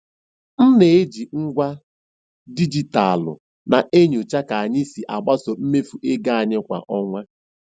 M na-eji ngwa dijitalụ na-enyocha ka anyị si agbaso mmefu ego anyị kwa ọnwa.